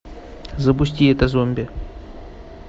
запусти это зомби